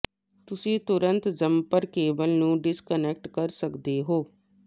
ਤੁਸੀਂ ਤੁਰੰਤ jumper cable ਨੂੰ ਡਿਸਕਨੈਕਟ ਕਰ ਸਕਦੇ ਹੋ